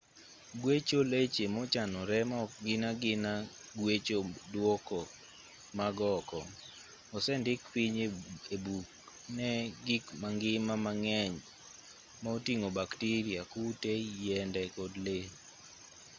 gwecho leche mochanore ma ok gin agina gwecho duoko mag oko osendik piny ebuk ne gik mangima mang'eny ma oting'o bakteria kute yiende kod lee